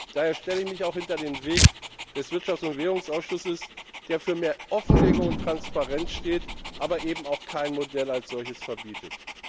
Daher stelle ich mich auch hinter den Weg des Wirtschafts und Währungsausschusses, der für mehr Offenlegung und Transparenz steht, aber eben auch kein Modell als solches verbietet.